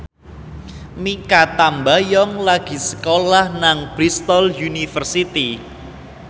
Mikha Tambayong lagi sekolah nang Bristol university